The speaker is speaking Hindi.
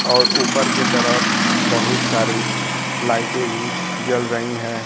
और ऊपर की तरफ बहुत सारी लाइटे भी जल रही हैं।